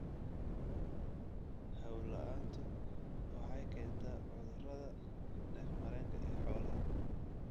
Hawo la'aantu waxay keentaa cudurrada neef-mareenka ee xoolaha.